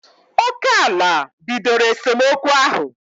Oké ala bidoro esemokwu ahụ